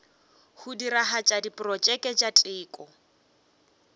go diragatša diprotšeke tša teko